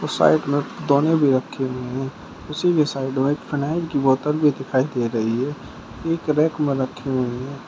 और साइड में दौने भी रखे हुए हैं। उसी की साइड में फिनायल की बोतल भी दिखाई दे रही है। एक रैक में रखी हुई हैं।